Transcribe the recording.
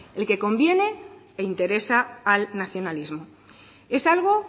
el que conviene e interesa al nacionalismo es algo